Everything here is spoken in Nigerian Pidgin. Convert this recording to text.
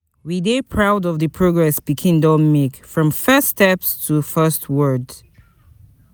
We dey proud of di progress pikin don make, from first steps to first word.